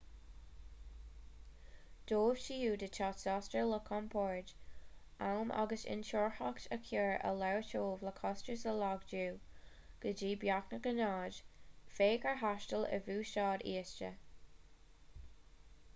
dóibh siúd atá sásta le compord am agus intuarthacht a chur ar leataobh le costais a laghdú go dtí beagnach a náid féach ar thaisteal ar bhuiséad íosta